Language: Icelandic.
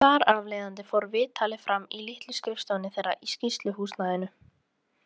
Þar af leiðandi fór viðtalið fram í litlu skrifstofunni þeirra í sýsluhúsnæðinu.